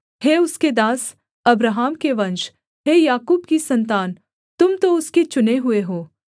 हे उसके दास अब्राहम के वंश हे याकूब की सन्तान तुम तो उसके चुने हुए हो